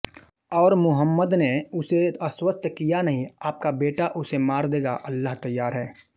और मुहम्मद ने उसे आश्वस्त किया नहीं आपका बेटा उसे मार देगा अल्लाह तैयार है